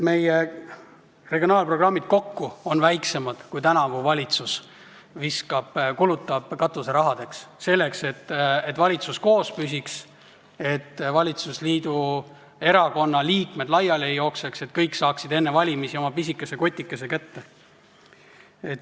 Meie regionaalprogrammid kokku on väiksemad, kui tänavu valitsus kulutab katuserahadeks, selleks, et valitsus koos püsiks, et valitsusliidu erakondade liikmed laiali ei jookseks, et kõik saaksid enne valimisi oma pisikese kotikese kätte.